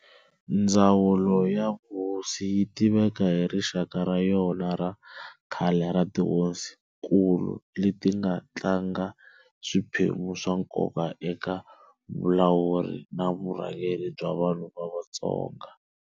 Ndzawulo ya vuhosi yi tiveka hi rixaka ra yona ra khale ra tihosinkulu leti nga tlanga swiphemu swa nkoka eka vulawuri na vurhangeri bya vanhu va Vatsonga.